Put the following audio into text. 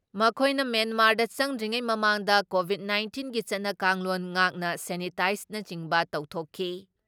ꯃꯈꯣꯏꯅ ꯃ꯭ꯌꯦꯟꯃꯥꯔꯗ ꯆꯪꯗ꯭ꯔꯤꯉꯩ ꯃꯃꯥꯡꯗ ꯀꯣꯚꯤꯠ ꯅꯥꯏꯟꯇꯤꯟꯒꯤ ꯆꯠꯅ ꯀꯥꯡꯂꯣꯟ ꯉꯥꯛꯅ ꯁꯦꯅꯤꯇꯥꯏꯖꯅꯆꯤꯡꯕ ꯇꯧꯊꯣꯛꯈꯤ ꯫